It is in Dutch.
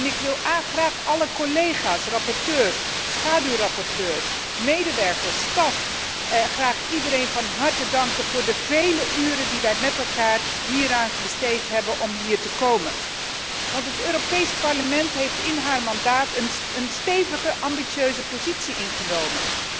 Ik wil graag alle collega's, rapporteurs, schaduwrapporteurs, medewerkers, staf, iedereen van harte danken voor de vele uren die wij met elkaar hieraan besteed hebben om dit te bereiken, want het Europees Parlement heeft in zijn mandaat een stevige ambitieuze positie ingenomen.